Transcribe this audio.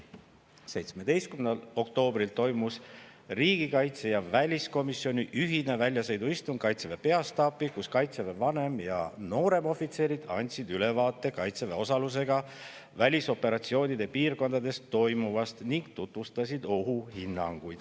17. oktoobril toimus riigikaitse- ja väliskomisjoni ühine väljasõiduistung Kaitseväe peastaabis, kus Kaitseväe vanem- ja nooremohvitserid andsid ülevaate Kaitseväe osalusega välisoperatsioonide piirkondades toimuvast ning tutvustasid ohuhinnanguid.